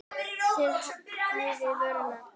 Það hæfir vorinu.